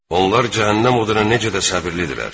Onlar cəhənnəm oduna necə də səbrlidirlər!